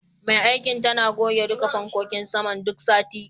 Mai aikin tana goge duka fankokin saman duk sati.